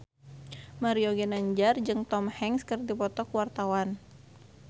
Mario Ginanjar jeung Tom Hanks keur dipoto ku wartawan